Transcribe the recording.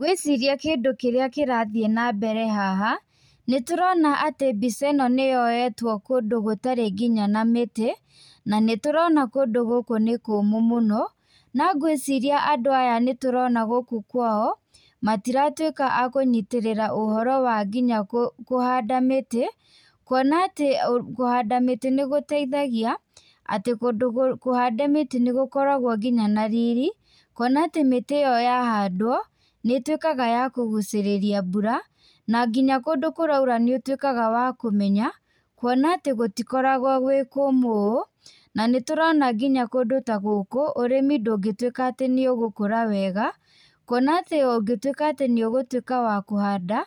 Ngwĩciria kĩndũ kĩrĩa kĩrathiĩ na mbere haha nĩ tũrona atĩ mbica ĩno nĩ yoetwo kũndũ gũtarĩ nginya na mĩtĩ na nĩ tũrona kũndũ gũkũ nĩ kũmũ mũno, na ngwĩciria andũ aya nĩ tũrona gũkũ kwao matiratuĩka a kũnyitĩrĩra ũhoro wa nginya kũhanda mĩtĩ, kwona atĩ kũhanda mĩtĩ nĩ gũteithagia, atĩ kũndũ kũhande mĩtĩ nĩ gũkoragwo nginya na riri, kwona atĩ mĩtĩ ĩyo yahandwo nĩ tuĩkaga ya kũgucĩrĩria mbura, na nginya kũndũ kũraura nĩ ũtuĩkaga wa kũmenya, kwona atĩ gũtikoragwo gwĩkũmũ ũũ, na nĩ tũrona kũndũ ta gũkũ ũrĩmi ndũngĩtuĩka atĩ nĩ ũgũkũra wega kwona atĩ ũngĩtuĩka atĩ nĩ ũgũtuĩka atĩ wa kũhanda,